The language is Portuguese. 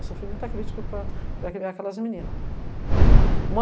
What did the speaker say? Eu sofri muita crítica para para criar a cadastra menina. Uma